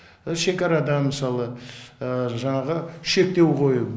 шекарадан мысалы жаңағы шектеу қою